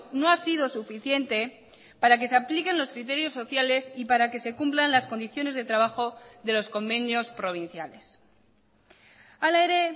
no ha sido suficiente para que se apliquen los criterios sociales y para que se cumplan las condiciones de trabajo de los convenios provinciales hala ere